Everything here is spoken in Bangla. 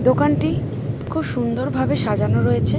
দোকানটি খুব সুন্দর ভাবে সাজানো রয়েছে।